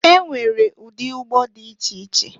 E nwere ụdị ụgbọ dị iche iche.